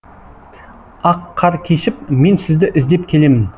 ақ қар кешіп мен сізді іздеп келемін